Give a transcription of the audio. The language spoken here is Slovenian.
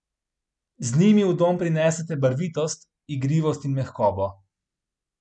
Z njimi v dom prinesete barvitost, igrivost in mehkobo.